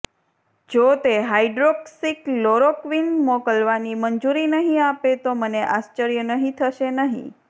જો તે હાઈડ્રોક્સીક્લોરોક્વિન મોકલવાની મંજૂરી નહીં આપે તો મને આશ્વર્ય નહીં થશે નહીં